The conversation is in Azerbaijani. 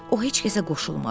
O heç kəsə qoşulmadı.